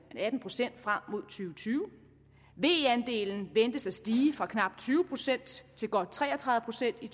atten procent frem mod og tyve ve andelen ventes at stige fra knap tyve procent til godt tre og tredive procent i